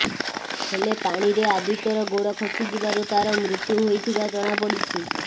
ହେଲେ ପାଣିରେ ଆଦିତ୍ୟର ଗୋଡ ଖସିଯିବାରୁ ତାର ମୃତ୍ୟୁ ହୋଇଥିବା ଜଣାପଡ଼ିଛି